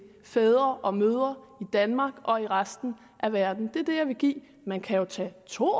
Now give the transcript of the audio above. fædre og mødre i danmark og i resten af verden det er det jeg vil give man kan jo tage to